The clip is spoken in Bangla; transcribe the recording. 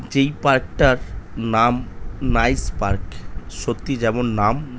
যেই পার্ক -টার নাম নাইস পার্ক সত্যি যেমন নাম--